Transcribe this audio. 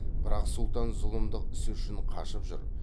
бірақ сұлтан зұлымдық ісі үшін қашып жүр